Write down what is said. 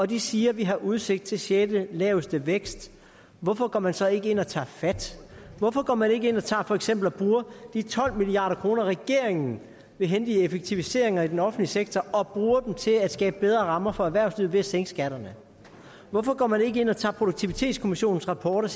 de siger vi har udsigt til den sjette laveste vækst hvorfor går man så ikke ind og tager fat hvorfor går man ikke ind og tager for eksempel de tolv milliard kr regeringen vil hente i effektiviseringer i den offentlige sektor og bruger dem til at skabe bedre rammer for erhvervslivet ved at sænke skatterne hvorfor går man ikke ind og tager produktivitetskommissionens rapport